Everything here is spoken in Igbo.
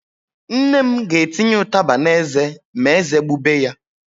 Nne m ga-etinye ụtaba n'eze ma ézé gbube ya.